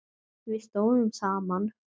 Við stóðum saman.